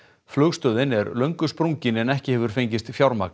flugstöðin er löngu sprungin en ekki hefur fengist fjármagn